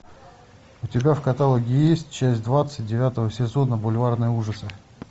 у тебя в каталоге есть часть двадцать девятого сезона бульварные ужасы